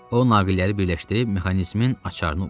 O naqilləri birləşdirib mexanizmin açarını vurdu.